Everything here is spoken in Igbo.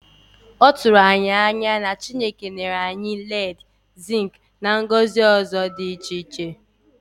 Lee ka o si dị ịtụnanya na e ji ọtụtụ ihe ndị sitere n'okike dị ka nkume nzu, lead, zinc, na nnu gọzie mpaghara ahụ.